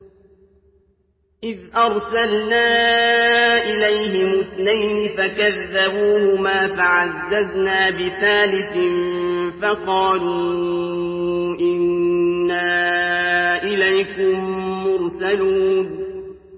إِذْ أَرْسَلْنَا إِلَيْهِمُ اثْنَيْنِ فَكَذَّبُوهُمَا فَعَزَّزْنَا بِثَالِثٍ فَقَالُوا إِنَّا إِلَيْكُم مُّرْسَلُونَ